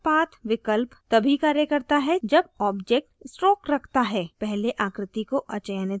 cut path विकल्प तभी कार्य करता है जब object stroke रखता है पहले आकृति को अचयनित करें